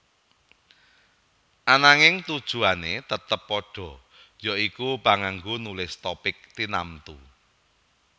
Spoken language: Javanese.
Ananging tujuané tetep padha ya iku panganggo nulis topik tinamtu